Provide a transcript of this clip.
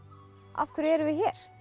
af hverju erum við hér